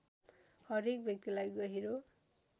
हरेक व्यक्तिलाई गहिरो